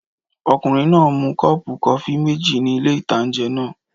Ọkùnrin náà mu kọ́ọ̀pù kọfí méjì ní ilé-ìtánjẹ náà